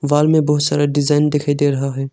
Wall में बहुत सारा डिजाइन दिखाई दे रहा है।